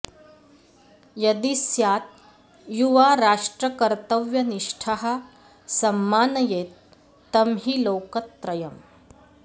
यदि स्यात् युवा राष्ट्रकर्तव्यनिष्ठः सम्मानयेत् तं हि लोकत्रयम्